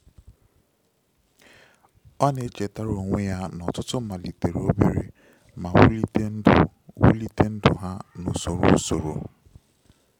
Ọ na-echetara onwe ya na ọtụtụ malitere òbèrè ma wulite ndụ wulite ndụ ha na usoro usoro.